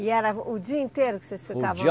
E era o dia inteiro que vocês ficavam